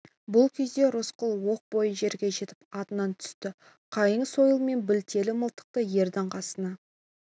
бұл кезде рысқұл оқ бойы жерге жетіп атынан түсті қайың сойыл мен білтелі мылтықты ердің қасына